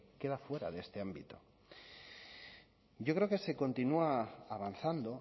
queda fuera de este ámbito yo creo que se continúa avanzando